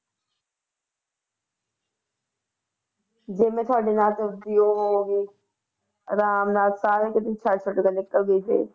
ਜੇ ਮੈਂ ਤੁਹਾਡੇ ਨਾਲ ਦੂਜੀ ਉਹ ਹੋ ਗਈ ਆਰਾਮ ਨਾਲ ਸਾਰਾ ਕੁਛ ਛੱਡ ਛੁੱਡ ਕੇ ਨਿਕਲ ਗਈ ਫਿਰ